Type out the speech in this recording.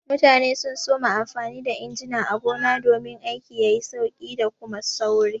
Mutane sun soma amfani da injina a gona domin aiki yayi sauki da Kuma sauri.